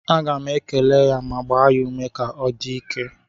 Aga m ekele ya ma gbaa ya ume ka ọ dị ike